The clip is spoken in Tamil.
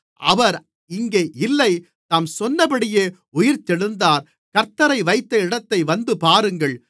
அவர் இங்கே இல்லை தாம் சொன்னபடியே உயிர்த்தெழுந்தார் கர்த்த்தரை வைத்த இடத்தை வந்துபாருங்கள்